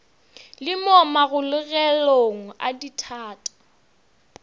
le mo magologelong a dithata